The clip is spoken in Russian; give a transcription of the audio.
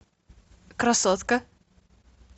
красотка